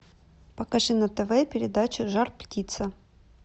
покажи на тв передачу жар птица